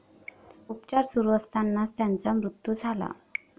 उपचार सुरू असतानाच त्यांचा मृत्यु झाला.